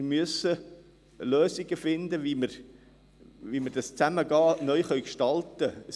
Wir müssen Lösungen finden, wie wir dieses Zusammengehen neu gestalten können.